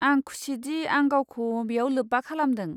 आं खुसिदि आं गावखौ बेयाव लोब्बा खालामदों।